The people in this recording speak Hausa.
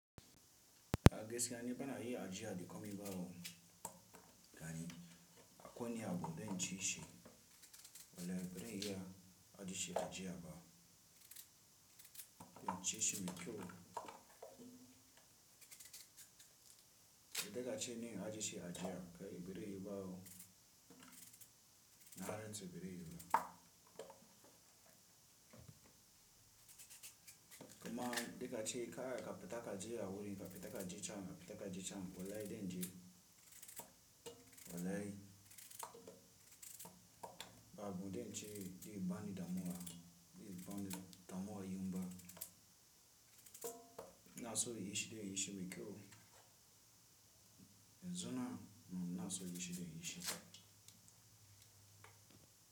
A gaskiya ni bana iya ajiya da komi ba wo, gani akwai wani abu zan cishi walle bazan iya ajeshi ajiya ba incishi mai kyau. Duka ace ni in ajeshi ajiya kai bazai yiwubawo, narantse bazai yiwuba kuma duka ace kada kafita kaje awuri, kafita kaje cen, kafita kaje cen wallahi zanje. Wallahi, babu zance zai bani damuwa, zai bani damuwa inba. Inaso inyi shiri inyi shiri kau. Yanzu nan, munaso inyi shiri, inyi shi.